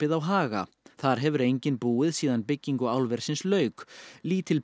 á Haga þar hefur enginn búið síðan byggingu álversins lauk